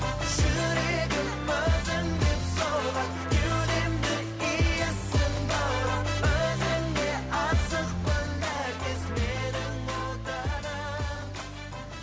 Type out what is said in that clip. жүрегім өзің деп соғады кеудемді иісің баурап өзіңе асықпын әр кез менің отаным